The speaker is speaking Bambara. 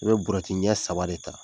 Ni ye buruyɛti ɲɛ saba de ta.